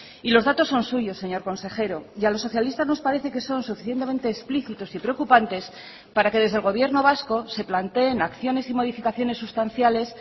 y los datos son suyos señor consejero y a los socialistas nos parece que son suficientemente explícitos y preocupantes para que desde el gobierno vasco se planteen acciones y modificaciones sustanciales